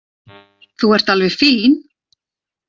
Þú ert alveg fín.